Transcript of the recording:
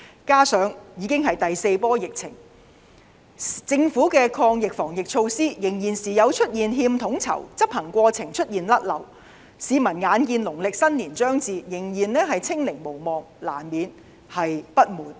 加上這次已經是第四波疫情，政府的抗疫防疫措施仍時有欠統籌，執行過程出現錯漏的情況，市民眼見農曆新年將至，仍然"清零"無望，難免不滿。